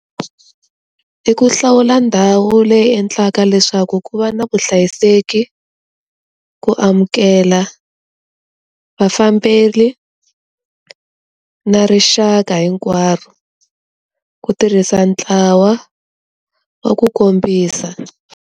I ku hlawula ndhawu leyi endlaka leswaku ku va na kuhlayiseki, ku amukela vafambeli na rixaka hinkwaro, ku tirhisa ntlawa wa ku kombisa.